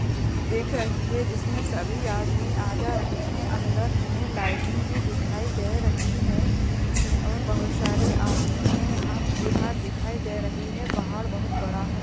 उ दिख रही है। जिसमे सभी आदमी आ जा रहे हैं। अंदर हमे लाइटिंग भी दिखाई दे रही है और बोहोत सारे आदमी हैं। यहाँ भीड़ भाड़ दिखाई दे रही है। पहाड़ बोहोत बड़ा है।